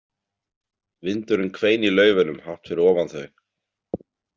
Vindurinn hvein í laufunum hátt fyrir ofan þau.